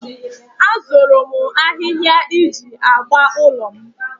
Azụrụ m ahịhịa iji agba ụlọ m